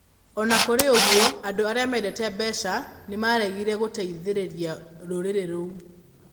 O na kũrĩ ũguo, andũ arĩa mendete mbeca nĩ maaregire gũteithĩrĩria rũrĩrĩ rũu.